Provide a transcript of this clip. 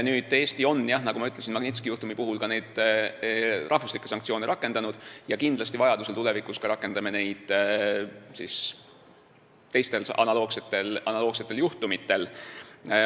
Eesti on, nagu ma ütlesin, Magnitski juhtumi puhul ka riiklikke sanktsioone rakendanud ja kindlasti vajadusel rakendame neid ka teistel analoogsetel juhtudel.